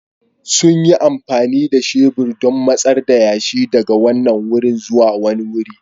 Sun yi amfani da shebur don matsar da yashi daga wannan wuri zuwa wani wuri.